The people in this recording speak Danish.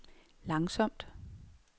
langsomt